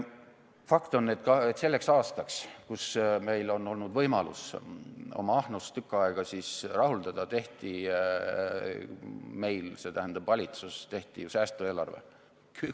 Fakt on, et selleks aastaks, kus meil on olnud võimalus oma ahnust tükk aega rahuldada, tehti meil, see tähendab valitsus tegi ju säästueelarve.